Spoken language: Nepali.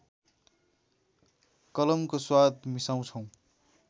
कलमको स्वाद मिसाउँछौ